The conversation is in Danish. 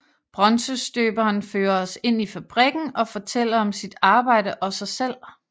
Bronzestøberen fører os ind i fabrikken og fortæller om sit arbejde og sig selv